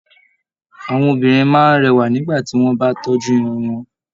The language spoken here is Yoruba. Àwọn obìnrin máa n rẹwa nígbà tí wọn bá tọ́jú Irun wọn.